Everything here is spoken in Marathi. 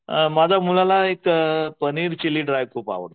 माझ्या मुलाला एक पनीर चिली ड्राय खूप आवडतं.